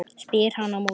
spyr hann á móti.